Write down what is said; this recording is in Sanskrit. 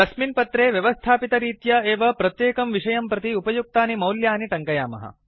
तस्मिन् पत्रे व्यवस्थापितरित्या एव प्रत्येकं विषयं प्रति उपयुक्तानि मौल्यानि ट्ङ्कयामः